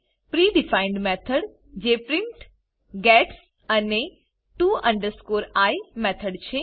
pre defined method જે print gets અને to i method છે